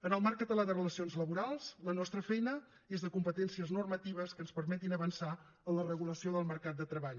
en el marc català de relacions laborals la nostra feina és de competències normatives que ens permetin avançar en la regulació del mercat de treball